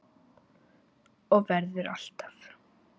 Og verður alltaf.